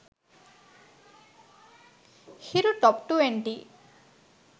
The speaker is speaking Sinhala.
hiru top 20